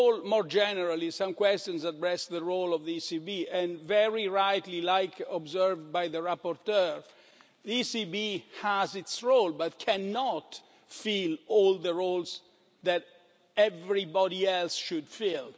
More generally, some questions addressed the role of the ECB and very rightly, as observed by the rapporteur, the ECB has its role but cannot fill all the roles that everybody else should fill.